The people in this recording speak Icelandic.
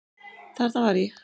Þarna var ég.